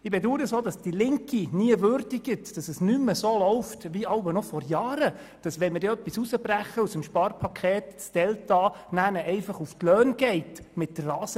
Ich bedaure es, dass die Linke nie würdigt, dass es nicht mehr so läuft wie vor Jahren, als man eine Massnahme herausbrechen konnte und das entstandene Delta gleichmässig auf die Löhne verteilt wurde.